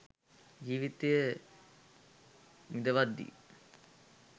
ජීවිතය විඳවද්දී